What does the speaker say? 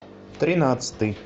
тринадцатый